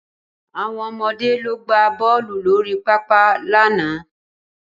Àwọn ọmọde lọ gbá bọ́ọ̀lù lórí pápá lánàá